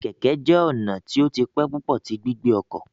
Keke keke jẹ ọna ti o ti pẹ pupọ ti gbigbe ọkọ